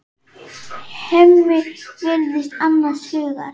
Hemmi virðist annars hugar.